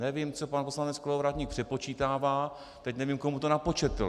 Nevím, co pan poslanec Kolovratník přepočítává, teď nevím, komu to napočetl.